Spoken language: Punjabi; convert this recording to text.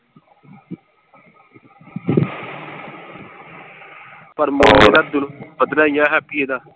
ਪਰ ਪੱਧਰਾ ਹੀ ਆ ਹੈਪੀ ਇਹਦਾ।